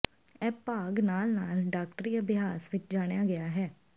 ਇਹ ਭਾਗ ਨਾਲ ਨਾਲ ਡਾਕਟਰੀ ਅਭਿਆਸ ਵਿੱਚ ਜਾਣਿਆ ਗਿਆ ਹੈ